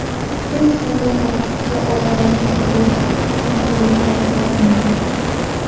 Hech qanday ortiqcha ovoragarchilik, qiyinchiliklar bo‘lmadi.